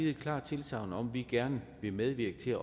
et klart tilsagn om at vi gerne vil medvirke til at